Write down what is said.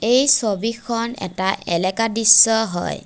এই ছবিখন এটা এলেকা দৃশ্য হয়।